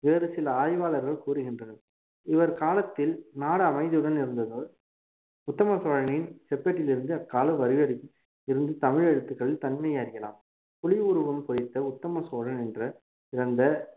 வேறு சில ஆய்வாளர்கள் கூறுகின்றனர் இவர் காலத்தில் நாடு அமைதியுடன் இருந்தது உத்தம சோழனின் செப்பேட்டிலிருந்து அக்கால வரிவடிவில் இருந்த தமிழ் எழுத்துக்கள் தன்மையை அறியலாம் புலி உருவம் பொறித்த உத்தம சோழன் என்ற கிரந்த